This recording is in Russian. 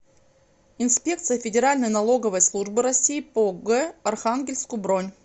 инспекция федеральной налоговой службы россии по г архангельску бронь